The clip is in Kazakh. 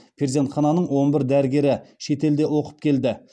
перзенхананың он бір дәрігері шетелде оқып келді